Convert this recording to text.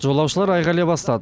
жолаушылар айқайлай бастады